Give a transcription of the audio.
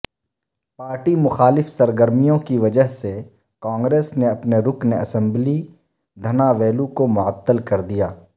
party مخالف سرگرمیوں کی وجہ سےکانگریس نے اپنے رکن اسمبلی دھناویلو کو معطل کردیا